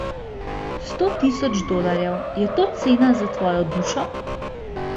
Sto tisoč dolarjev, je to cena za tvojo dušo?